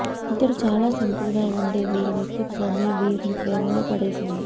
ఇద్దరు చాలా సింపుల్ గా ఉండే వీరి వ్యక్తిత్వమే వీరిని ప్రేమలో పడేసింది